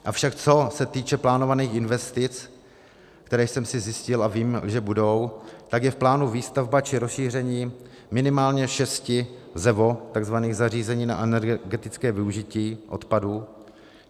Avšak co se týče plánovaných investic, které jsem si zjistil, a vím, že budou, tak je v plánu výstavba či rozšíření minimálně šesti tzv. ZEVO, zařízení na energetické využití odpadů.